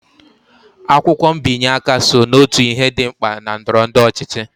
Akwụkwọ mbinye aka so n'otu ihe dị mkpa na ndọrọndọrọ ọchịchị